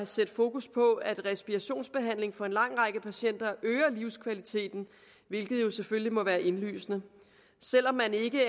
sætte fokus på at en respirationsbehandling for en lang række patienter øger livskvaliteten hvilket jo selvfølgelig må være indlysende selv om man ikke